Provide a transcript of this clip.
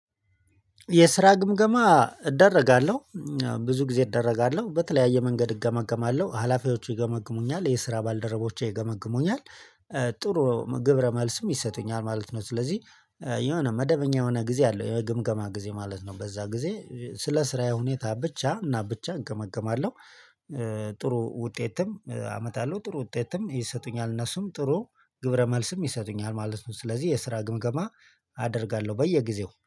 የስራ ግምገማ እደረጋለሁ ብዙ ጊዜ እደረጋለሁ በተለያየ መንገድ እገመግማለሁ ሀላፊዎቹ ይገመግሙኛል የስራ ባልደረቦቼ ይገመግሙኛል ጥሩ ግብረ መልስም ይሰጡኛል ማለት ነው። ስለዚህ የሆነ መደበኛ የሆነ ጊዜ አለው የግምገማ ጊዜ ማለት ነው። በዛ ጊዜ ስለ ስራዬ ሁኔታ ብቻ እና ብቻ እገመገማለሁ። ጥሩ ውጤትም አመጣለው ጥሩ ውጤትም ይሰጡኛል እነሱም ጥሩ ግብረ መልስም ይሰጡኛል ማለት ነው። ስለዚህ የስራ ግምገማ አደርጋለሁ በየጊዜው